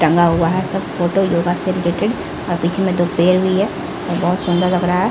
टंगा हुआ है सब फोटो योगा से रिलेटेड और बिच में दो पेयर हुई है जो बहुत सुन्दर लग रहा है।